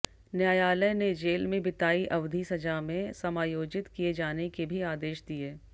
न्यायालय ने जेल में बिताई अवधि सजा में समायोजित किए जाने के भी आदेश दिए